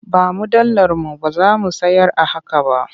Ba mu dalar mu ba za mu sayar a haka ba.